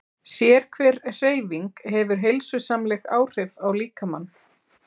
Sérhver hreyfing hefur heilsusamleg áhrif á líkamann.